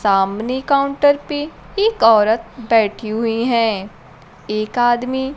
सामने काउंटर पे एक औरत बैठी हुई हैं एक आदमी--